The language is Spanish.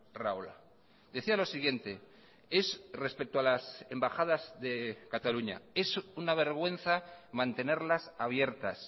rahola decía lo siguiente es respecto a las embajadas de cataluña es una vergüenza mantenerlas abiertas